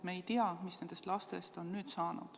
Me ei tea, mis nendest lastest on nüüd saanud.